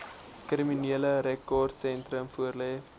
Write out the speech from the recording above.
kriminele rekordsentrum voorlê